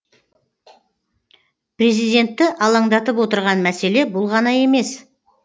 президентті алаңдатып отырған мәселе бұл ғана емес